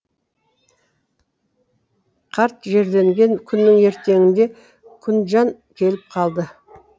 қарт жерленген күннің ертеңінде күнжан келіп қалды